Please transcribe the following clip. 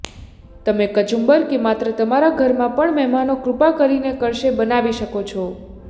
તમે કચુંબર કે માત્ર તમારા ઘરમાં પણ મહેમાનો કૃપા કરીને કરશે બનાવી શકો છો